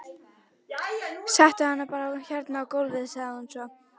Settu hann bara hérna á gólfið, sagði hún svo.